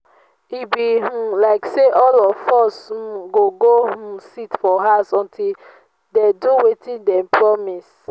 e be um like say all of us um go go um sit for house until dey do wetin dey promise